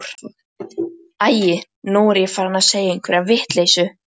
Æi, nú er ég farin að segja einhverja vitleysu.